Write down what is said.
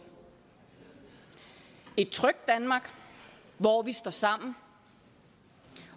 et trygt danmark hvor vi står sammen